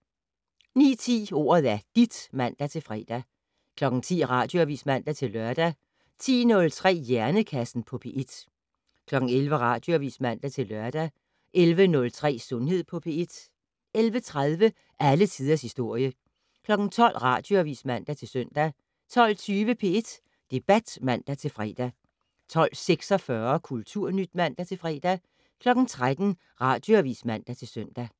09:10: Ordet er dit (man-fre) 10:00: Radioavis (man-lør) 10:03: Hjernekassen på P1 11:00: Radioavis (man-lør) 11:03: Sundhed på P1 11:30: Alle tiders historie 12:00: Radioavis (man-søn) 12:20: P1 Debat (man-fre) 12:46: Kulturnyt (man-fre) 13:00: Radioavis (man-søn)